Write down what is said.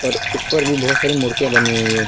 ऊपर भी बहोत सारी मूर्तियां बनी हुई हैं।